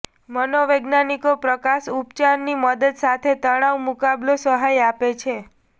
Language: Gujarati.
મનોવૈજ્ઞાનિકો પ્રકાશ ઉપચાર ની મદદ સાથે તણાવ મુકાબલો સલાહ આપે છે